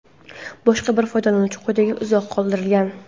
Boshqa bir foydalanuvchi quyidagicha izoh qoldirgan:.